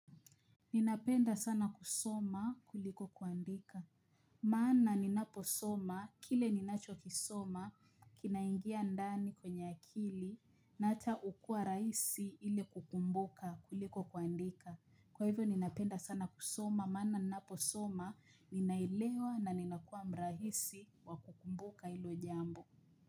Ninapenda sana kusoma kuliko kuandika, maana ninaposoma kile ninachokisoma kinaingia ndani kwenye akili na hata hukua rahisi ili kukumbuka kuliko kuandika. Kwa hivyo ninapenda sana kusoma, maana naposoma, ninaelewa na ninakuwa mrahisi wa kukumbuka hilo jambo.